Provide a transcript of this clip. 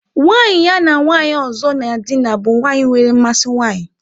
Nwanyị ya na nwanyị ọzọ na-edina bụ nwanyị nwere mmasị nwanyị.